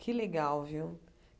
Que legal, viu?